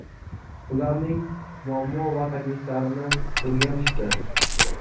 ularning muammo va takliflarini o‘rganishdi.